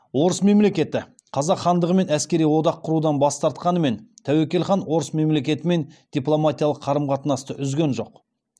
орыс мемлекеті қазақ хандығымен әскери одақ құрудан бас тартқанымен тәуекел хан орыс мемлекетімен дипломатиялық қарым қатынасты үзген жоқ